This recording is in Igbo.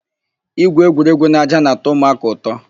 Ígwù égwú n'ájá na-atọ ụmụaka ụtọ.